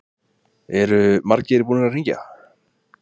Andri: Eru margir búnir að hringja?